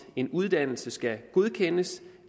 en uddannelse skal godkendes